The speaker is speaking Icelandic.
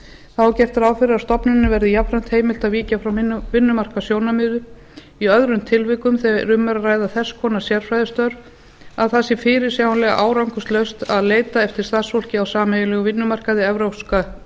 þá er gert ráð fyrir að stofnuninni verði jafnframt heimilt að víkja frá vinnumarkaðssjónarmiði í öðrum tilvikum þegar um er að ræða þess konar sérfræðistörf að það sé fyrirsjáanlega árangurslaust að leita eftir starfsfólki á sameiginlegum vinnumarkaði evrópska